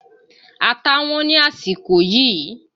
Ata Wọ́n ní àsìkò yìí